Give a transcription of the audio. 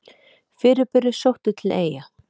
Fyrirburi sóttur til Eyja